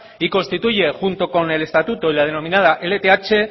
y constituye junto con el estatuto y la denominada lth